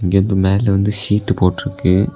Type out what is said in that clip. இது மேல வந்து சீட் போட்டு இருக்கு.